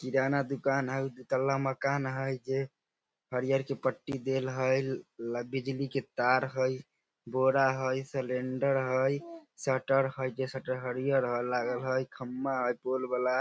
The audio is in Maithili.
किराना दुकान हेय दू तल्ला मकान हेय जे हरियर के पट्टी देल हेय ल बिजली के तार हेय बोरा हेय सिलिंडर हेय शटर हेय जे शटर हरियर ह लागल हेय खंभा हेय पोल वाला।